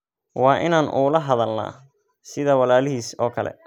Waa inaan ula hadalnaa sida walaalihiis oo kale.